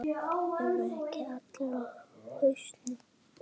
Eru ekki allir á hausnum?